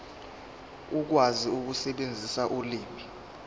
ukwazi ukusebenzisa ulimi